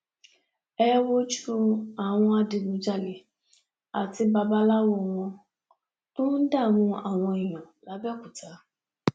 ẹ wojú àwọn adigunjalè àti babaláwo wọn tó ń dààmú àwọn èèyàn labẹokúta